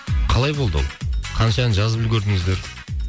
қалай болды ол қанша ән жазып үлгердіңіздер